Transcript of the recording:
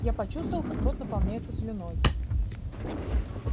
я почувствовал как рот наполняется слюной